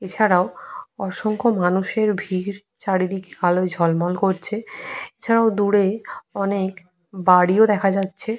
এছাড়াও অসংখ্য মানুষের ভিড় চারদিকে আলোয় ঝলমল করছে। এছাড়াও দূরে অনেক বাড়িও দেখা যাচ্ছে।